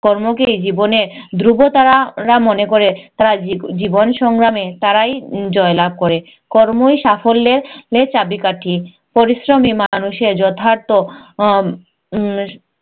কর্মকেই জীবনের ধ্রুবতারা রা মনে করে জীবনসংগ্রামে তারাই জয়লাভ করে। কর্মই সাফল্যের এর চাবিকাঠি। পরিশ্রম ই মানুষের যথার্থ উম আহ